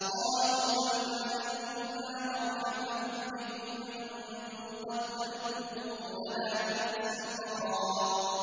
قَالُوا بَلْ أَنتُمْ لَا مَرْحَبًا بِكُمْ ۖ أَنتُمْ قَدَّمْتُمُوهُ لَنَا ۖ فَبِئْسَ الْقَرَارُ